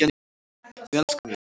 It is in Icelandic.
Við elskum þig.